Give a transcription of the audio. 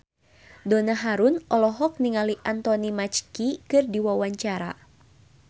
Donna Harun olohok ningali Anthony Mackie keur diwawancara